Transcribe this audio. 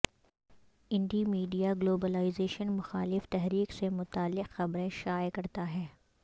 indie media globalisation مخالف تحریک سے متعلق خبریں شائع کرتا ہے